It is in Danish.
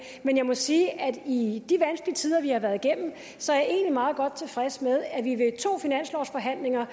men jeg må sige at i forhold de vanskelige tider vi har været igennem så er jeg egentlig meget godt tilfreds med at vi ved to finanslovsforhandlinger